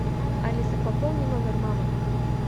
алиса пополни номер мамы